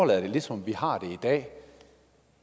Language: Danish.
være lidt som det